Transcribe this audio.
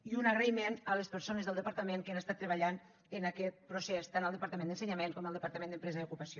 i un agraïment a les persones del departament que han estat treballant en aquest procés tant al departament d’ensenyament com al departament d’empresa i ocupació